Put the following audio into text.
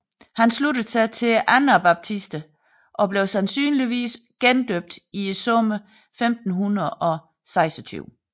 Han sluttede sig til anabaptisterne og blev sandsynligvis gendøbt i sommeren 1526